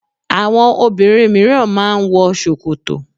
Àwọn obìnrin míràn má a n wọ sòkòtò